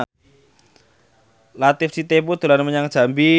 Latief Sitepu dolan menyang Jambi